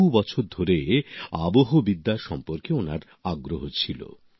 বহু বছর ধরে আবহবিদ্যা সম্পর্কে ওনার আগ্রহ ছিল